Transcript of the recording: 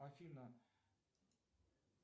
афина